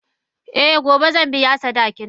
Eh gobe zan biya sadakinta.